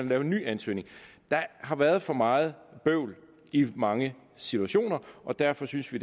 lave en ny ansøgning der har været for meget bøvl i mange situationer og derfor synes vi